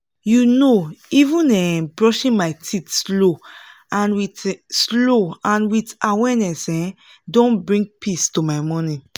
you know even um brushing my teeth slow and with slow and with awareness um don bring peace to my morning